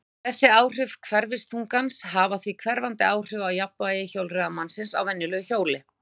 Þessi áhrif hverfiþungans hafa því hverfandi áhrif á jafnvægi hjólreiðamanns á venjulegu hjóli.